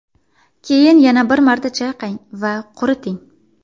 Keyin yana bir marta chayqang va quriting.